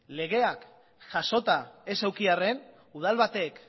legeak jasota ez eduki arren udal batek